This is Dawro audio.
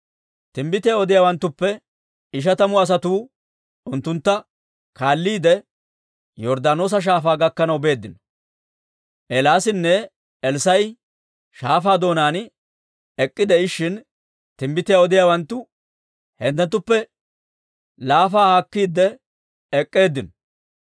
Timbbitiyaa odiyaawanttuppe ishatamu asatuu unttuntta kaalliide, Yorddaanoosa Shaafaa gakkanaw beeddino. Eelaasinne Elssaa'i shaafaa doonaan ek'k'ide'ishshin, timbbitiyaa odiyaawanttu unttunttuppe laafaa haakkiide ek'k'eeddinno.